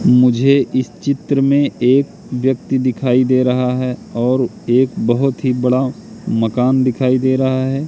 मुझे इस चित्र में एक व्यक्ति दिखाई दे रहा है और एक बहोत ही बड़ा मकान दिखाई दे रहा है।